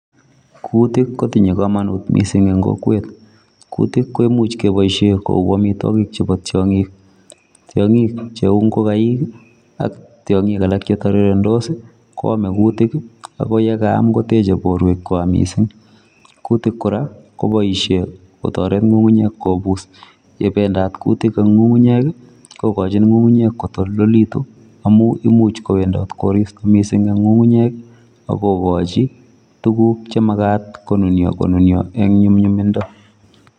Kuutik kotinye komonut mising eng kokwet, kuutik koimuch kepoishe kou amitwokik chepo tiong'ik. Tiong'ik cheu ngokaik ak tiong'ik alak chetorirendos koame kuutik ak yekaam koteche borwekwa mising. Kuutik kora koboishe kotoret ng'ung'unyek kobus, yependat kuutik eng ng'ung'unyek kokochin ng'ung'unyek kotoldolitu amu imiuch kowendot koristo mising eng ng'ung'unyek akokochi tuguk chemajkat konunio konunio eng nyumnyumindo.